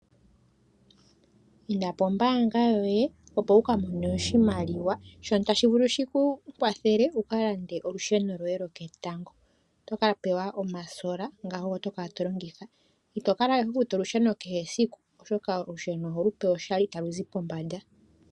Inda pombaanga yoye opo wu ka mone oshimaliwa shono tashi vulu shi ku kwathele wu ka lande olusheno lwoye lwoketango. Oto ka pewa omasola ngoka ogo to kala to longitha. Ito kala we ho futu olusheno kehe siku oshoka olusheno oho lu pewa pewa oshali talu zi pombanda.